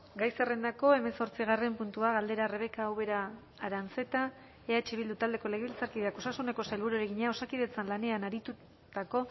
gai zerrendako hemezortzigarren puntua galdera rebeka ubera aranzeta eh bildu taldeko legebiltzarkideak osasuneko sailburuari egina osakidetzan lanean aritutako